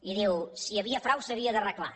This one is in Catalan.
i diu si hi havia frau s’havia d’arreglar